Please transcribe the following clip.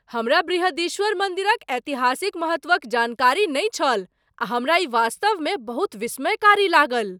हमरा बृहदीश्वर मन्दिरक ऐतिहासिक महत्वक जानकारी नहि छल आ हमरा ई वास्तवमे बहुत विस्मयकारी लागल ।